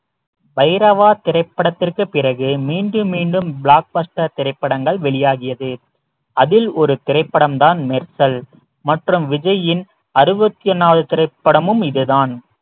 பைரவா திரைப்படத்திற்கு பிறகு மீண்டும் மீண்டும் block buster திரைப்படங்கள் வெளியாகியது அதில் ஒரு திரைப்படம்தான் மெர்சல் மற்றும் விஜயின் அறுபத்தி நாலு திரைப்படமும் இதுதான்